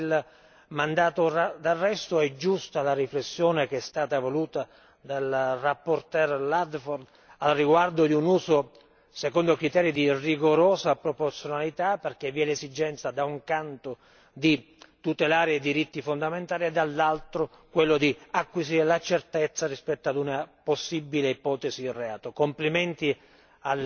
Per quanto riguarda il mandato d'arresto, è giusta la riflessione che è stata voluta dalla relatrice Ludford al riguardo di un uso secondo criteri di rigorosa proporzionalità, perché vi è l'esigenza da un canto di tutelare i diritti fondamentali e, dall'altro, di acquisire la certezza rispetto ad una possibile ipotesi di reato.